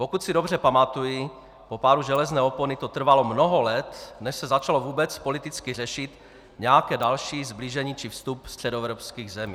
Pokud si dobře pamatuji, po pádu železné opony to trvalo mnoho let, než se začalo vůbec politicky řešit nějaké další sblížení či vstup středoevropských zemí.